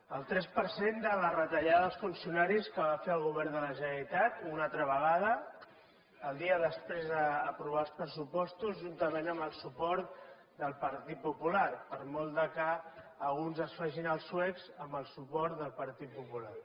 el tres per cent de la retallada als funcionaris que va fer el govern de la generalitat una altra vegada el dia després d’aprovar els pressupostos juntament amb el suport del partit popular per molt que alguns es facin els suecs amb el suport del partit popular